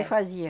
É fazia.